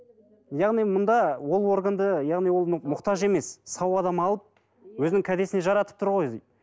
яғни мұнда ол органды яғни ол мұқтаж емес сау адам алып өзінің кәдесіне жаратып тұр ғой